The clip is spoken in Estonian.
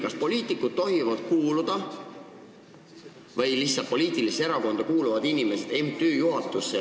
Kas poliitikud või lihtsalt poliitilisse erakonda kuuluvad inimesed tohivad kuuluda MTÜ juhatusse?